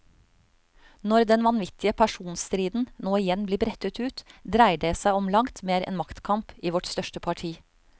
Når den vanvittige personstriden nå igjen blir brettet ut, dreier det som om langt mer enn maktkamp i vårt største parti.